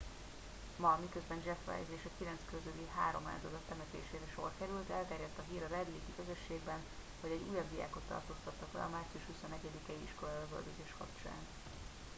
ma miközben jeff weise és a kilenc közüli három áldozat temetésére sor került elterjedt a hír a red lake i közösségben hogy egy újabb diákot tartóztattak le a március 21 i iskolai lövöldözés kapcsán